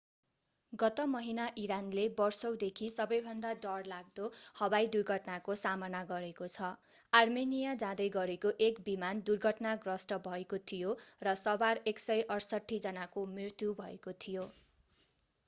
गत महिना इरानले वर्षौंदेखि सबैभन्दा डरलाग्दो हवाई दुर्घटनाको सामना गरेको छ आर्मेनिया जाँदै गरेको एक विमान दुर्घटनाग्रस्त भएको थियो र सवार 168 जनाको मृत्यु भएको थियो